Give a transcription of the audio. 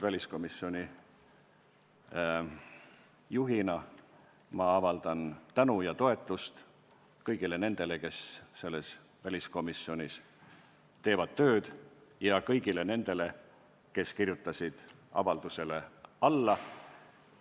Väliskomisjoni juhina avaldan ma veel kord tänu ja toetust kõigile nendele, kes selles komisjonis tööd teevad, ja kõigile nendele, kes avaldusele alla kirjutasid.